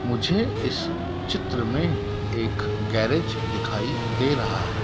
मुझे इस चित्र में एक गैरेज दिखाई दे रहा है।